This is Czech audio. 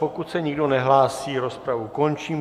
Pokud se nikdo nehlásí, rozpravu končím.